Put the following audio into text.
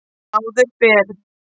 Áður fyrr